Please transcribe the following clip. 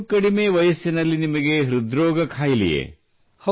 ಇಷ್ಟು ಕಡಿಮೆ ವಯಸ್ಸಿನಲ್ಲಿ ನಿಮಗೆ ಹೃದ್ರೋಗ ಖಾಯಿಲೆಯೇ